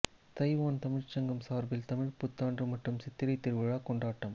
Taiwan தமிழ்ச்சங்கம் சார்பில் தமிழ்ப் புத்தாண்டு மற்றும் சித்திரை திருவிழா கொண்டாட்டம்